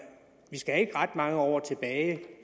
vi skal ikke ret mange år tilbage